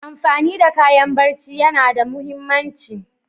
Amfani da kayan barci yana da muhimmanci.